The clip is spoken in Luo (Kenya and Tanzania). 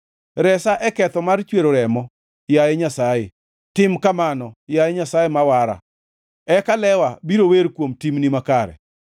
Resa e ketho mar chwero remo, yaye Nyasaye, tim kamano, yaye Nyasaye ma wara, eka lewa biro wer kuom timni makare.